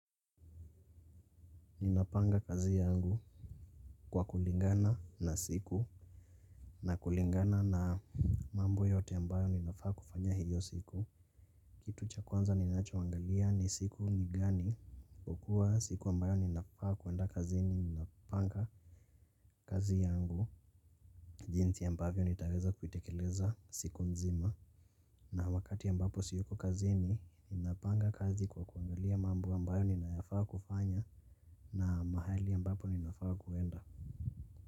Ninapanga kazi yangu kwa kulingana na siku na kulingana na mambo yote ambayo ninafaa kufanya hiyo siku. Kitu cha kwanza ninachoangalia ni siku ni gani kwakuwa siku ambayo ninafaa kwenda kazini ninapanga kazi yangu. Jinsi ambavyo nitaweza kuitekeleza siku nzima. Na wakati ambapo siyuko kazini ninapanga kazi kwa kuangalia mambo ambayo ninayafaa kufanya na mahali ambapo ninafaa kuenda.